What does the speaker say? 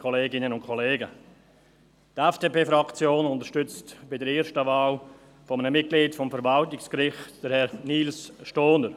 Die FDP-Fraktion unterstützt bei der ersten Wahl eines Mitglieds des Verwaltungsgerichts Herrn Nils Stohner.